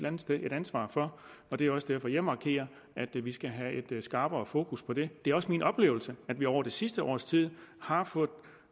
andet sted et ansvar for og det er også derfor at jeg markerer at vi skal have skrappere fokus på det det er også min oplevelse at vi over det sidste års tid har fået